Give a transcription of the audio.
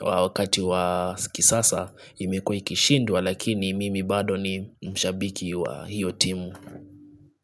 wakati wa sikisasa imekuwa ikishindwa lakini mimi bado ni mshabiki wa hiyo timu.